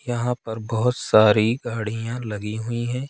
यहां पर बहुत सारी गाड़ियां लगी हुई है।